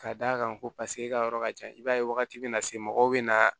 Ka d'a kan ko paseke e ka yɔrɔ ka jan i b'a ye wagati bɛna se mɔgɔw bɛ na